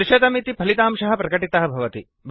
300 इति फलितांशः प्रकटितः भवति